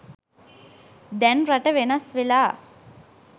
දැන් රට වෙනස් වෙලා.